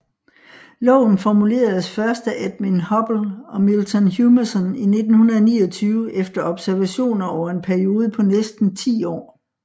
Loven formuleredes først af Edwin Hubble og Milton Humason i 1929 efter observationer over en periode på næsten 10 år